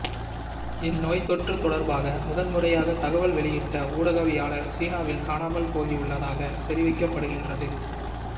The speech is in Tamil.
இந்நோய் தொற்றுத்தொடர்பாக முதன்முறையாக தகவல் வெளியிட்ட ஊடகவியலாளர் சீனாவில் காணாமல்போயுள்ளதாக தெரிவிக்கப்படுகின்றது